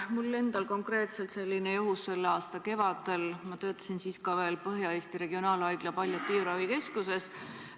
Mul endal oli konkreetselt selline juhtum tänavu kevadel, ma töötasin siis veel Põhja-Eesti Regionaalhaigla palliatiivravi keskuses.